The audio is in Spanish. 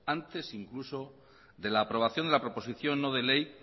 antes incluso de la aprobación de la proposición no de ley